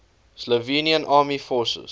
slovenian armed forces